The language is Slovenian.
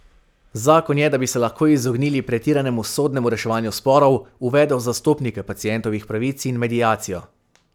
Zakon je, da bi se lahko izognili pretiranemu sodnemu reševanju sporov, uvedel zastopnike pacientovih pravic in mediacijo.